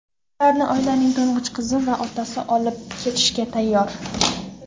Ularni oilaning to‘ng‘ich qizi va otasi olib ketishga tayyor.